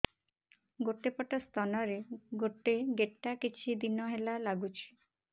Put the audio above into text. ଗୋଟେ ପଟ ସ୍ତନ ରେ ଗୋଟେ ଗେଟା କିଛି ଦିନ ହେଲା ଲାଗୁଛି